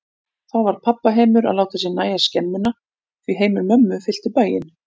Þá varð pabba heimur að láta sér nægja skemmuna, því heimur mömmu fyllti bæinn.